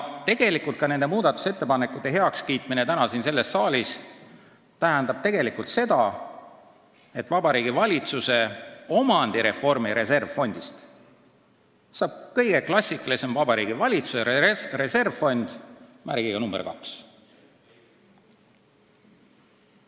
Tegelikult tähendab nende muudatusettepanekute heakskiitmine täna siin saalis seda, et Vabariigi Valitsuse omandireformi reservfondist saab kõige klassikalisem Vabariigi Valitsuse reservfond number kaks.